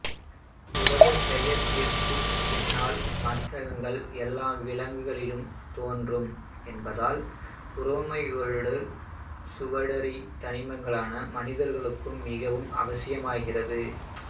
புரதப்பெயர்ப்பிற்குப் பின்னான மாற்றங்கள் எல்லா விலங்குகளிலும் தோன்றும் என்பதால் புரோமைடுகள் சுவடறி தனிமங்களாக மனிதர்களுக்கு மிகவும் அவசியமாகிறது